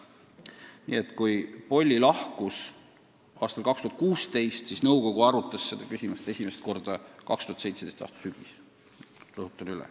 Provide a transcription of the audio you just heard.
Nii et kui Polli lahkus aastal 2016, siis nõukogu arutas seda küsimust esimest korda 2017. aasta sügisel.